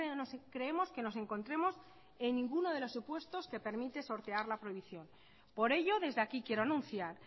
no creemos que nos encontremos en ninguno de los supuestos que permite sortear la prohibición por ello desde aquí quiero anunciar